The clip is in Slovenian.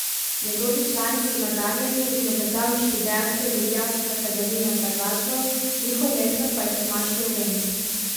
Njegovi člani so nadarjeni in obetavni študentje ljubljanske akademije za glasbo, njihov mentor pa je Tomaž Lorenz.